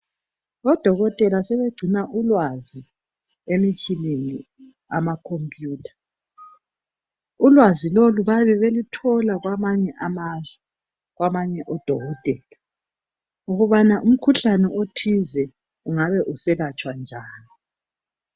Odokotela sebegcina ulwazi emitshineni, amakhompiyutha. Ulwazi lolu bayabe beluthola kwamanye amazwe kwabanye odokotela ukubana umkhuhlane othize ungabe uselatshwa njani.